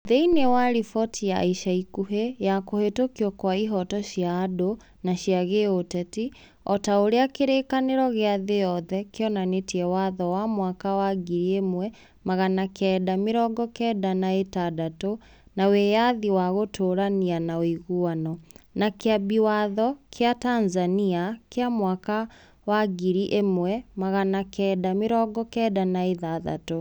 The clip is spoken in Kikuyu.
Thĩinĩ wa riboti ya ica ikuhĩ ya kũhĩtũkwo kwa ihooto cia andũ na cia gĩũteti, o ta ũrĩa kĩrĩĩkanĩro gĩa thĩ yothe kĩonanĩtie watho wa mwaka wa ngiri ĩmwe magana kenda mĩrongo kenda na ĩtandatũ wa Wĩyathi wa Gũtũũrania na Ũiguano, na Kĩambi Watho kĩa Tanzania kĩa mwaka wa mwaka wa ngiri ĩmwe magana kenda mĩrongo kenda na ithathatũ.